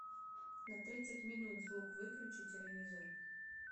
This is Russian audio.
на тридцать минут звук выключи телевизор